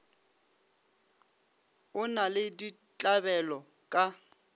o na le ditlabelo ka